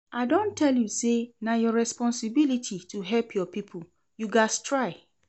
I don tell you sey na your responsibility to help your pipo, you gats try.